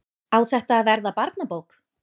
Á þetta að verða barnabók?